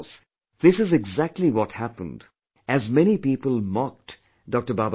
And of course, this is exactly what happened as many people mocked Dr